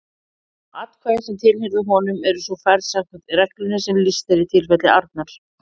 Atkvæði sem tilheyrðu honum eru svo færð samkvæmt reglunni sem lýst er í tilfelli Arnar.